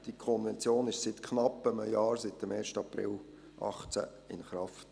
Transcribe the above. Die Konvention ist seit knapp einem Jahr – seit dem 1. April 2018 – in Kraft.